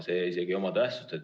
See ei oma tähtsust.